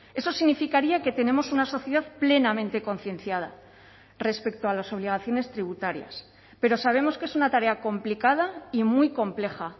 eso significaría que tenemos una sociedad plenamente concienciada respecto a las obligaciones tributarias pero sabemos que es una tarea complicada y muy compleja